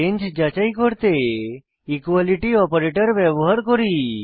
range যাচাই করতে equality operator ব্যবহার করি